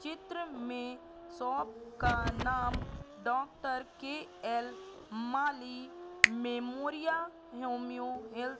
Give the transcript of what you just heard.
चित्र में शॉप का नाम doctor K L Mali memorial homeo health --